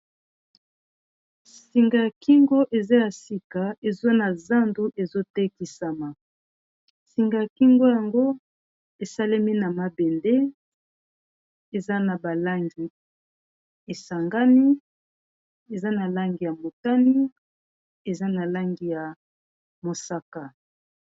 singa ya kingo eza ya sika ezwa na zandu ezotekisama singa ya kingo yango esalemi na mabende eza na balangi esangani eza na langi ya motani eza na langi ya mosaka